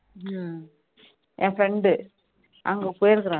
என் friend டு அங்க போயிருக்கேன் நானு